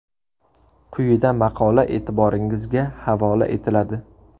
Quyida maqola e’tiboringizga havola etiladi.